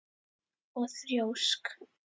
Og þrjósk.